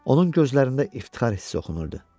Onun gözlərində iftixar hissi oxunurdu.